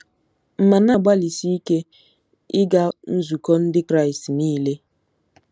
M̀ na-agbalịsi ike ịga nzukọ Ndị Kraịst niile?